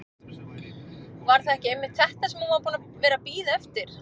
Var það ekki einmitt þetta sem hún var búin að vera að bíða eftir?